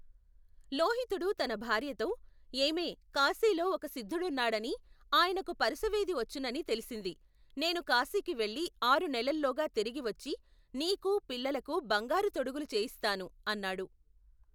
లోహితుడు తన భార్యతో, ఏమే కాశీలో ఒక సిద్ధుడున్నాడనీ, ఆయనకు పరుసవేది వచ్చుననీ తెలిసింది. నేను కాశీకి వెళ్ళి ఆరు నెలల్లోగా తిరిగి వచ్చి నీకూ, పిల్లలకూ బంగారు తొడుగులు చేయిస్తాను! అన్నాడు.